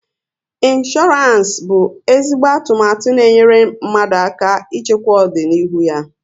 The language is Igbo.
Insooransi bụ ezigbo atụmatụ n'enyere mmadụ aka ịchekwaa ọdịnihu ya